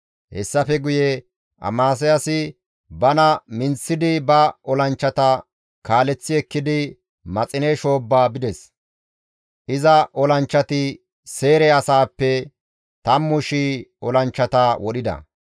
Hessafe guye Amasiyaasi bana minththidi ba olanchchata kaaleththi ekkidi Maxine shoobba bides; iza olanchchati Seyre asaappe 10,000 olanchchata wodhida.